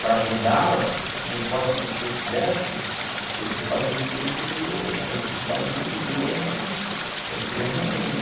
Para ajudar, não importa com o que eu fizesse, eu fui fazer depois porque a necessidade me obrigou a segurar a minha onda.